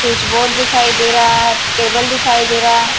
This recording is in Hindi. स्विचबोर्ड दिखाई दे रहा टेबल दिखाई दे रहा--